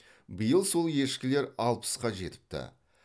биыл сол ешкілер алпысқа жетіпті